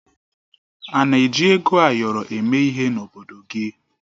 Ana eji ego ayọrọ eme ihe n'obodo gị?